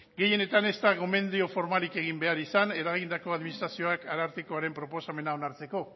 gehienetan ez da gomendio formarik egin behar izan eragindako administrazioak arartekoaren proposamena onartzeko